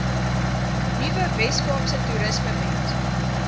nuwe weskaapse toerismewet